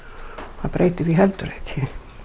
það breytir því heldur ekki